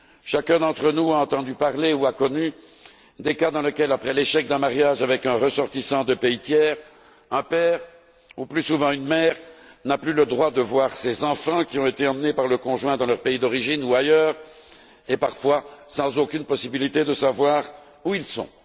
Chacun d'entre nous a entendu évoquer ou a connu des cas où, après l'échec d'un mariage avec un ressortissant de pays tiers, un père ou, plus souvent, une mère n'a plus le droit de voir ses enfants, qui ont été emmenés par le conjoint dans son pays d'origine ou ailleurs, et parfois, n'a aucune possibilité de savoir où ils sont.